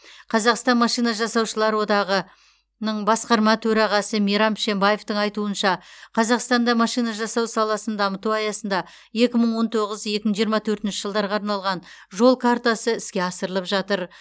қазақстан машина жасаушылар одағы ның басқарма төрағасы мейрам пішембаевтың айтуынша қазақстанда машина жасау саласын дамыту аясында екі мың он тоғыз екі мың жиырма төртінші жылдарға арналған жол картасы іске асырылып жатыр